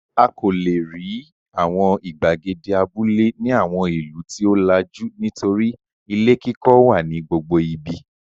A kò lè rí àwọn ìgbàgede abúlé ní àwọn ìlú tí ó làjú nítorí ilé kíkọ́ wà ní gbogbo ibi.